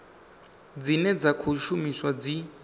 dzine dza khou shumiswa dzi